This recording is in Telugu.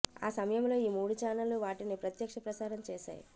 ఆ సమయంలో ఈ మూడు ఛానల్ వాటిని ప్రత్యక్ష ప్రసారం చేశాయి